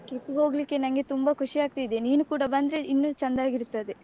Trip ಗೆ ಹೋಗ್ಲಿಕ್ಕೆ ನನ್ಗೆ ತುಂಬ ಖುಷಿ ಆಗ್ತಿದೆ ನೀನು ಕೂಡ ಬಂದ್ರೆ ಇನ್ನು ಚಂದಾಗಿರ್ತದೆ.